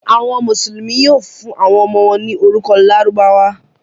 Àwọn Mùsùlùmí yóò fún àwọn ọmọ wọn ní orúkọ Lárúbáwá.